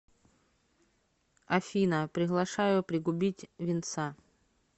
афина приглашаю пригубить винца